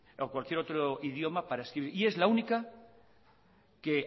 o cualquier otro idioma para escribir y es la única que